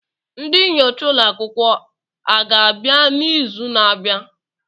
Ndị nyocha ụlọ akwụkwọ aga-abịa n'izu na-abịa?